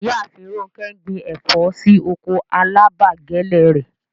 Ìyààfin Rọ̀nkẹ ń gbìn ẹ̀fọ̀ sí oko alábàgẹ̀lẹ̀ rẹ̀.